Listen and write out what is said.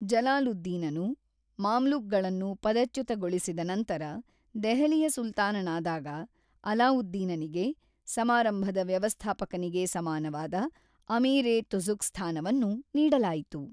ಜಲಾಲುದ್ದೀನನು ಮಾಮ್ಲುಕ್‌ಗಳನ್ನು ಪದಚ್ಯುತಗೊಳಿಸಿದ ನಂತರ ದೆಹಲಿಯ ಸುಲ್ತಾನನಾದಾಗ, ಅಲಾವುದ್ದೀನನಿಗೆ (ಸಮಾರಂಭದ ವ್ಯವಸ್ಥಾಪಕನಿಗೆ ಸಮಾನವಾದ) ಅಮೀರ್-ಇ-ತುಜುಕ್ ಸ್ಥಾನವನ್ನು ನೀಡಲಾಯಿತು.